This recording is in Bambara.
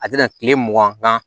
A bɛna kile mugan